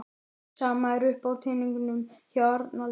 Sama er uppi á teningnum hjá Arnaldi